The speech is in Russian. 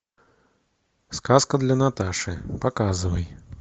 сказка для наташи показывай